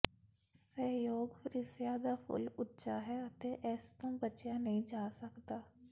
ਸਹਿਯੋਗ ਫ੍ਰੀਸਿਆ ਦਾ ਫੁੱਲ ਉੱਚਾ ਹੈ ਅਤੇ ਇਸ ਤੋਂ ਬਚਿਆ ਨਹੀਂ ਜਾ ਸਕਦਾ